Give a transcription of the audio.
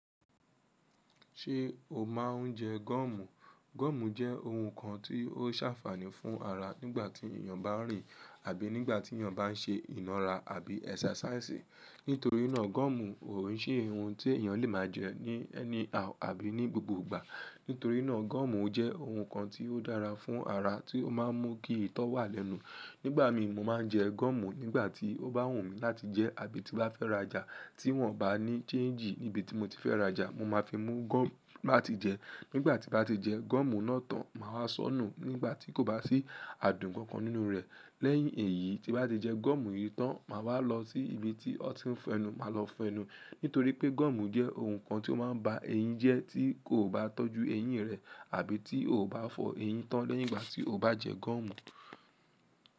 Ṣé o máa ń jẹ gọ́ọ̀mù? Gọ́ọ̀mù jẹ́ ohun kan tí ó sàfààní fún ara nígbà tí èyàn bá rìn àbí nígbà tí èyàn bá n ṣe iná ara àbí ẹ́xercisi. Nítorí náà gọ́ọ̀mù ò n ṣe ohun tí èyàn lè máa jẹ ní anyhow àbí ní gbogbo ìgbà. Nítorí náà gọ́ọ̀mù jẹ́ ohun kan tí ó dára fún ara tí ó má a mú kí ìtọ́ wà lẹ́nu. Nígbà mi, mo máa ń jẹ gọ́ọ̀mù nígbà tí ó bá wùn mí láti jẹ àbí tí bá fẹ́ rajà tí wọ́n ò bá ní chanjì níbi tí mo ti fẹ́ rajà. Mo má fi mú gọ́ọ̀mù láti jẹ. Nígbà tí bá ti jẹ gọ́ọ̀mù náà tán, màá wá sọ́nù nígbà tí kò bá sí adùn kan kan nínú rẹ̀. Lẹ́yìn èyí tí bá ti jẹ gọ́ọ̀mù yìí tán, màá wá lọ sí ibi tí wó ti ń fẹnu, màá lọ fẹnù. Nítorí pé gọ́ọ̀mù jẹ́ ohun kan tí ó máa ń ba eyín jẹ́ tí kò bá tọ́jú eyín rẹ àbí tí ò bá fọ eyín tán lẹ́yìn ìgbà tí o bá jẹ gọ́ọ̀mù.